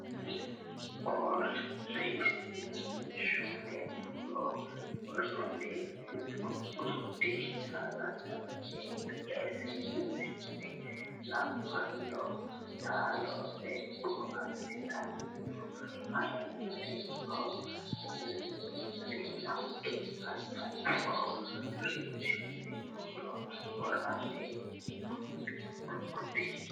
Ko rinshoonni buuro worranni guggudi cala cala yee ille Seennenna labballo taalo beeqqo assitanno aaninni hoo linannikki assanno Ko rinshoonni buuro worranni guggudi.